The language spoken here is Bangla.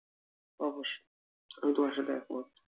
অবশ্যই আমি তোমার সাথে এক মত